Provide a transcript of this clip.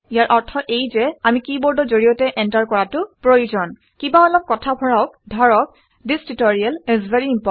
ইয়াৰ অৰ্থ এয়ে যে আমি কিবৰ্ডৰ জৰিয়তে এণ্টাৰ কৰাটো প্ৰয়োজন কিবা অলপ কথা ভৰাওক ধৰক - this tutorial is very important